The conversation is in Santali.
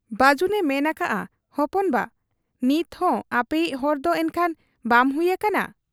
ᱵᱟᱹᱡᱩᱱᱮ ᱢᱮᱱ ᱟᱠᱟᱜ ᱟ, 'ᱦᱚᱯᱚᱱ ᱵᱟ ! ᱱᱤᱛᱦᱚᱸ ᱟᱯᱮᱭᱤᱡ ᱦᱚᱲᱫᱚ ᱮᱱᱠᱷᱟᱱ ᱵᱟᱢ ᱦᱩᱭ ᱟᱠᱟᱱᱟ ?